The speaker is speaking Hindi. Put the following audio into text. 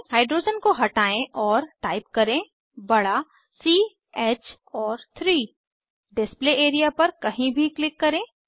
हाइड्रोजन को हटायें और टाइप करें बड़ा सी Hऔर 3 डिस्प्ले एरिया पर कहीं भी क्लिक करें